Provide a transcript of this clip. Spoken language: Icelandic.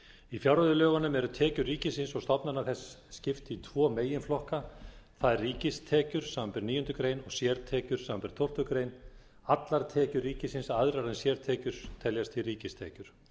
í fjárreiðulögunum er tekjum ríkisins og stofnana þess skipt í tvo meginflokka það er ríkistekjur samanber níundu greinar og sértekjur samanber tólftu greinar allar tekjur ríkisins aðrar en sértekjur teljast því ríkistekjur